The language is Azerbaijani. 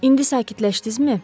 İndi sakitləşdinizmi?